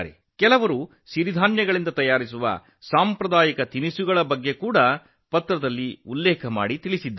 ಕೆಲವರು ಸಿರಿಧಾನ್ಯದಿಂದ ಮಾಡಿದ ಸಾಂಪ್ರದಾಯಿಕ ತಿನಿಸುಗಳ ಬಗ್ಗೆಯೂ ಹೇಳಿದ್ದಾರೆ